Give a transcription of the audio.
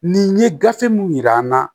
Nin ye gafe mun yira n na